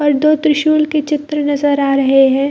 ओर दो त्रिशूल की चित्र नज़र आ रहें हैं।